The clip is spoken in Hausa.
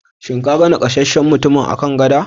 Shin ka gan nakasasshen mutumin a kan gada?